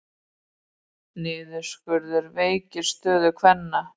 Niðurskurður veikir stöðu kvenna